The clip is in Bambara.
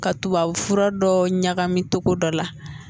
Ka tubabufura dɔ ɲagami cogo dɔ la